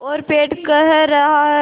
और पेट कह रहा है